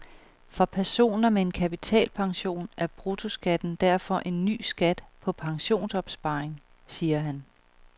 For personer med en kapitalpension er bruttoskatten derfor en ny skat på pensionsopsparing, siger han.